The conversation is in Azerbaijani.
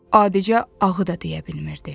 Adicə ağı da deyə bilmirdi.